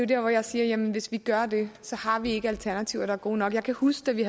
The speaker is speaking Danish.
der hvor jeg siger jamen hvis vi gør det har vi ikke alternativer der er gode nok jeg kan huske da vi